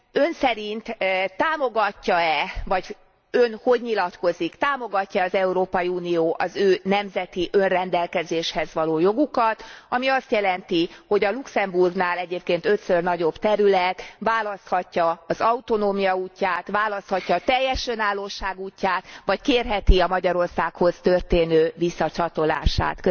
Ön szerint támogatja e, illetve Ön hogy nyilatkozik támogatja e az Európai Unió az ő nemzeti önrendelkezéshez való jogukat, ami azt jelenti, hogy a Luxemburgnál egyébként ötször nagyobb terület választhatja az autonómia útját, választhatja a teljes önállóság útját vagy kérheti a Magyarországhoz történő visszacsatolását.